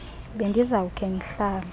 bendiza kukhe ndihlale